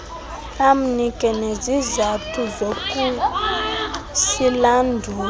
amnike nezizathu zokusilandula